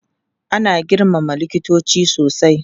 Ana girmama likitoci sosai.